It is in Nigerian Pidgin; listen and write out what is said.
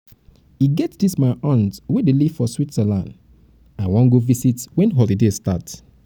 e get dis my aunt wey dey live for switzerland i wan go visit wen holiday start